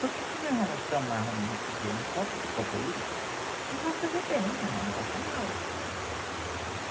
Porque se nós vamos tomar, vamos dizer, um copo de Copaíba, não vai fazer bem, não passa mal.